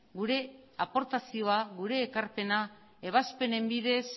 gure aportazioa gure ekarpena ebazpenen bidez